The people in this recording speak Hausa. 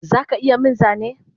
Zaka iya min Zane?